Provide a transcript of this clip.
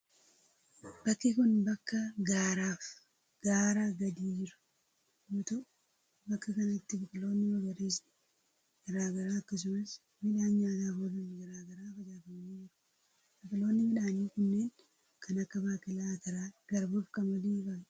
Bakki kun, bakka gaara fi gaaraa gadi jiru yoo ta'u, bakka kanatti biqiloonni magariisni garaa garaa akkasumas midhaan nyaataf oolan garaa garaa facaafamanii jiru. Biqiloonni midhaanii unneen kan akka baaqelaa, ataraa, garbuu fi qamadii faa dha.